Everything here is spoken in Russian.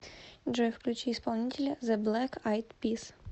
джой включи исполнителя зе блэк айд пис